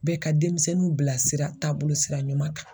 Bɛ ka denmisɛnninw bilasira taabolo sira ɲuman kan.